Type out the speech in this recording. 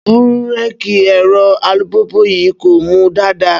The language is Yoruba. Bíréèkì ẹ̀rọ alùpùpù yìí kò mú dáadáa